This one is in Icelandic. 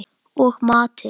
Og matinn